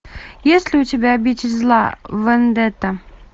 есть ли у тебя обитель зла вендетта